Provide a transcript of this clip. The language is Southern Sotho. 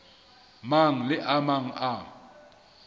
mang le a mang a